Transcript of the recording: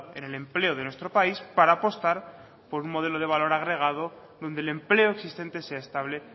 en el empleo de nuestro país para apostar por un modelo de valor agregado donde el empleo existente sea estable